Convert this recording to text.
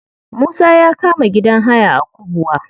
Musa ya kama gidan haya a kubwa.